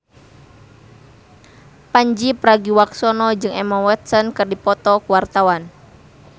Pandji Pragiwaksono jeung Emma Watson keur dipoto ku wartawan